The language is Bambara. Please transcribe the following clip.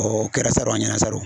o kɛra saro an ɲɛna saro